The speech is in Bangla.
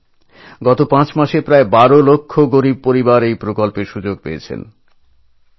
ভাই ও বোনেরা গত পাঁচ মাসে প্রায় বারো লক্ষ দরিদ্র পরিবার এই যোজনার সুযোগ নিয়েছেন